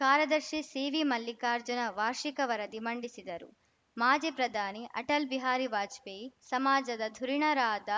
ಕಾರ್ಯದರ್ಶಿ ಸಿವಿ ಮಲ್ಲಿಕಾರ್ಜುನ ವಾರ್ಷಿಕ ವರದಿ ಮಂಡಿಸಿದರು ಮಾಜಿ ಪ್ರಧಾನಿ ಅಟಲ್‌ ಬಿಹಾರಿ ವಾಜಪೇಯಿ ಸಮಾಜದ ಧುರೀಣರಾದ